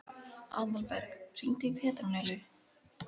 Aðalberg, hringdu í Petrónellu.